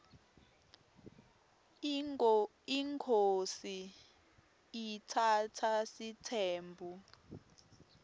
inkhosi iatsatsa sitsembu